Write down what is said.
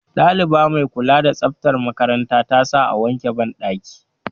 Ɗaliba mai kula da tsaftar makaranta ta sa a wanke banɗaki